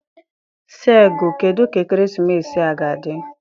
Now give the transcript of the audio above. Segu, kedu ka ekeresimesi a ga-adị?